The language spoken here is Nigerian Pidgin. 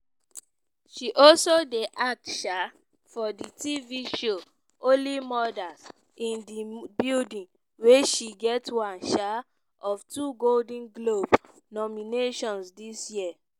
she also dey act um for di tv show only murders in di building wey she get one um of two golden globe nominations dis year.